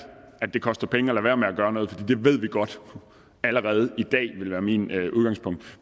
at det koster penge at lade være med at gøre noget for det ved vi godt allerede i dag det vil være mit udgangspunkt